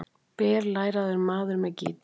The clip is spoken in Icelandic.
BERLÆRAÐUR MAÐUR MEÐ GÍTAR